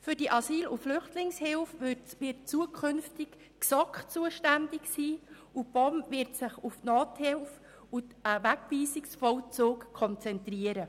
Für die Asyl- und Flüchtlingshilfe wird zukünftig die GSoK zuständig sein, und die POM wird sich auf die Nothilfe und den Wegweisungsvollzug konzentrieren.